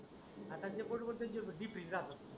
आता जे बुडबुडते ते जीपीस राहत.